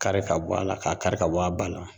Kari ka bɔ a la k'a kari ka bɔ a ba la.